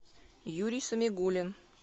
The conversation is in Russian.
юрий самигулин